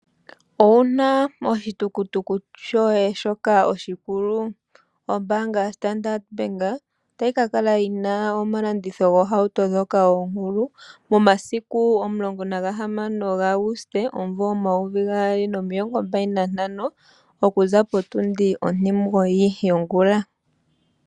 Owuna oshi tukutuku shoye shoka oshikulu, ombanga ya Standard Bank ota yi kakala yina omalandithilo gohauto dhoka okulu momasiku 16, 08, 2025 okuza potundi otingoyi yongula.